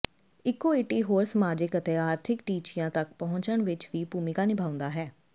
equity ਹੋਰ ਸਮਾਜਿਕ ਅਤੇ ਆਰਥਿਕ ਟੀਚਿਆਂ ਤੱਕ ਪਹੁੰਚਣ ਵਿਚ ਵੀ ਭੂਮਿਕਾ ਨਿਭਾਉਂਦਾ ਹੈ